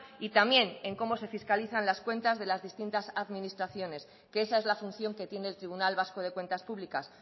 y también en cómo se fiscalizan las cuentas de las distintas administraciones que esa es la función que tiene el tribunal vasco de cuentas públicas